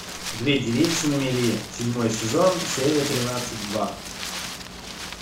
две девицы на мели седьмой сезон серия тринадцать два